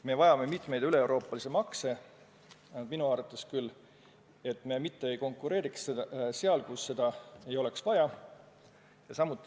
Me vajame minu arvates mitmeid üleeuroopalisi makse, et me mitte ei konkureeriks seal, kus seda ei ole vaja.